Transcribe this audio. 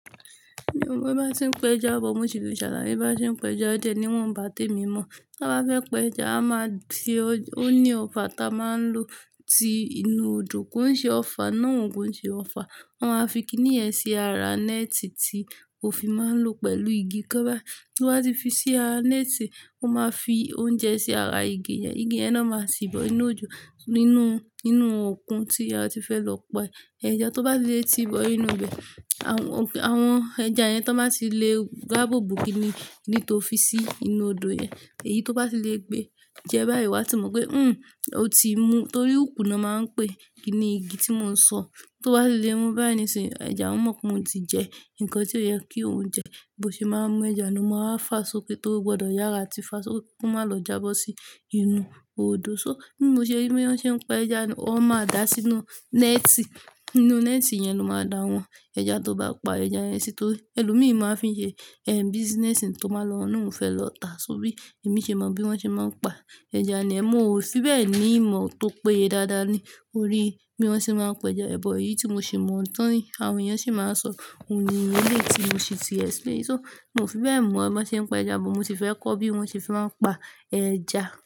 Mí o mọ bá ṣe ń pe ẹja bọ̀, mo si le ṣàlayẹ̀. Bí wọ́n bá ṣe ń pe ẹja jẹ ní wọ́n bà te mi mọ̀. Bí wọ́n bá fẹ́ pe ẹja, a máa fi-- ó ní ọfà ta máa ń lò tí inú odò, kí ó ṣe ọfà náà òun kí ó ṣe ọfà. Wọ́n á fi i kíní ẹ̀ sí ara net ti ó fi máa ń lò pẹ̀lú igi. Kí bá-- tí wọ́n á ti fi sí ara net, wọ́n máa fi oúnjẹ sí ara igi yẹn. Igi ẹ náà máa sì bọ inú odò nínú, nínú okùn tí a ti fẹ́ lọ pa ẹja. Tó bá ti lé ti bọ inú ibẹ̀, àwọn- àwọn ẹja yẹn tó bá ti lè gbá bùbù kíní, ní tó fi sí inú odò yẹn, èyí tó bá ti lè gbé jẹ báyìí, wọ́n á ti mọ̀ pé, "hmmm, ó ti mú." Torí òpúnà máa ń pẹ́, kíní igi tí mò ń sọ, tó bá ti lè mú báyìí ni sì, ẹja mọ̀ pé mó ti jẹ nǹkan tí ó yẹ kí òun jẹ. Bo ṣe máa ń mú ẹja lọ́mọ, a fáso pé torí ó gbọdọ̀ yára tí fáso kó má lọ jábọ́ sí inú odò. So bí mo ṣe rí bí wọ́n ṣe ń pe ẹja ni wọ́n máa dá sínú net. Nínú net yẹn ló máa da wọ́n. Ẹja tó bá pa ẹja yẹn sí tó-- ẹlòmíràn fi ń ṣe, ehn, business tó máa ń lọ, náà ń fẹ́ lọ ta. So bí èmi ṣe mọ bí wọ́n ṣe máa ń pa ẹja ni ẹ́, mo ò fi bẹ́ẹ̀ ní ìmọ̀ tó péye dáadáa ni. Orí bí wọ́n ṣe máa ń pe ẹja. Ẹ̀bọ̀ èyí tí mo sì mọ̀ tán ni àwọn èèyàn sì máa ń sọ, òun ni ìyẹ́lé tí mo sì ti explain. So mo fi bẹ́ẹ̀ mọ bí wọ́n ṣe ń pe ẹja bọ̀, mo sì fẹ́ kọ́ bí wọ́n ṣe máa ń pa ẹja.